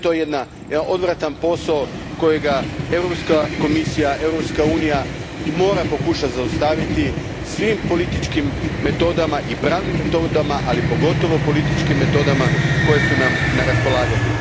Sve je to jedan odvratan posao koji Europska komisija, Europska unija mora pokušati zaustaviti svim političkim i pravnim metodama, ali pogotovo političkim metodama koje su nam na raspolaganju.